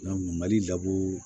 mali